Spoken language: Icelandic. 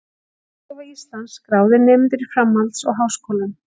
Hagstofa Íslands- skráðir nemendur í framhalds- og háskólum.